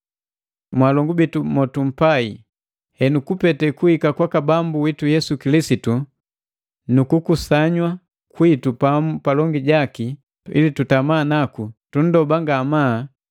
Mwalongu bitu motumpai, henu kupete kuhika Kwaka Bambu witu Yesu Kilisitu nuku kukusanywa kwitu pamu palongi jaki, ili tutama naku, tunndoba ngamaa,